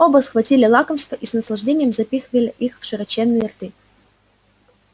оба схватили лакомства и с наслаждением запихивали их в широченные рты